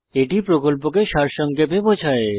এটি প্রকল্পকে সারসংক্ষেপে বোঝায়